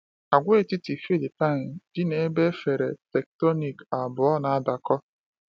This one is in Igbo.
Agwaetiti Philippine dị n’ebe efere tectonic abụọ na-adakọ.